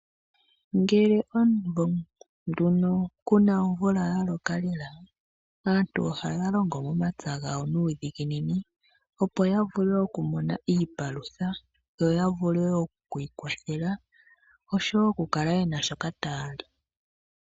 Ngele omuvo nduno kuna omvula yaloka lela aantu oha longo momapya ngawo nudhinginini opo yavule okumona iipalutha yo yavule okwi kwathela osho okukala yena shoka tayali.